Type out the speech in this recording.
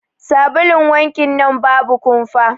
Sabulun wankin nan babu kumfa.